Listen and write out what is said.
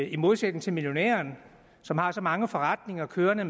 i modsætning til millionærerne som har så mange forretninger kørende